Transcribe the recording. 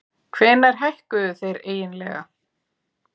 Hvenær hækkuðu þeir eiginlega?